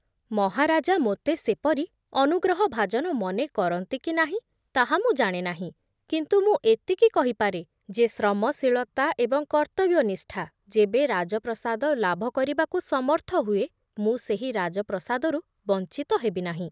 ମହାରାଜା ମୋତେ ସେପରି ଅନୁଗ୍ରହଭାଜନ ମନେ କରନ୍ତି କି ନାହିଁ ତାହା ମୁଁ ଜାଣେ ନାହିଁ, କିନ୍ତୁ ମୁଁ ଏତିକି କହିପାରେ ଯେ ଶ୍ରମଶୀଳତା ଏବଂ କର୍ତ୍ତବ୍ୟନିଷ୍ଠା ଯେବେ ରାଜପ୍ରସାଦ ଲାଭ କରିବାକୁ ସମର୍ଥ ହୁଏ, ମୁଁ ସେହି ରାଜପ୍ରସାଦରୁ ବଞ୍ଚିତ ହେବିନାହିଁ ।